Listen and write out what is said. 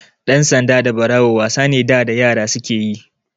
Ɗan sanda da Ɓarawo wasa ne da da yara suke yi.